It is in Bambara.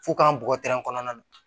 F'u k'an bɔgɔ tɛrɛn kɔnɔna na